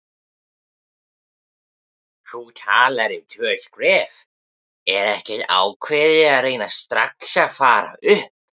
Þú talar um tvö skref, er ekkert ákveðið að reyna strax að fara upp?